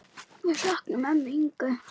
Við söknum ömmu Ingu.